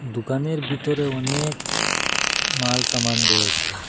দুকানের বিতরে অনেক মাল সামান রয়েছে।